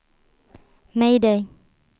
mayday